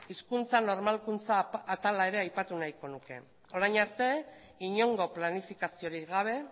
hizkuntza normalkuntza atala ere aipatu nahiko nuke orain arte inongo planifikaziorik gabe